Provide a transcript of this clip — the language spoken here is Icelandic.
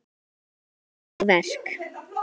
Afar falleg verk.